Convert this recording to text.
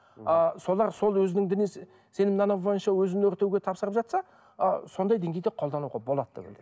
ы солар сол өзінің діни сенім нанымы бойынша өзін өртеуге тапсырып жатса ы сондай деңгейде қолдануға болады түбінде